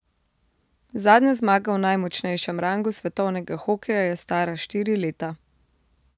Zadnja zmaga v najmočnejšem rangu svetovnega hokeja je stara štiri leta.